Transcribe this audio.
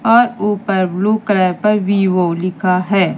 और ऊपर blue colour पर विवो लिखा है।